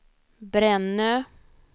Brännö